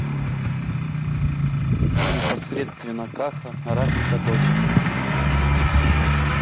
непосредственно каха рафика дочка